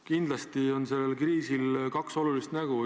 Kindlasti on sellel kriisil kaks nägu.